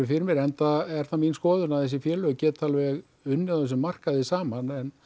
fyrir mér enda er það mín skoðun að þessi félög geta alveg unnið á þessum markaði saman en